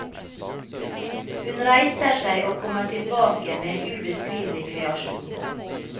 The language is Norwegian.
Hun reiser seg og kommer tilbake med en ubeskrivelig kreasjon.